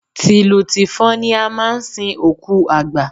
Tìlù tìfọn ni a máa ń sin òkú àgbà.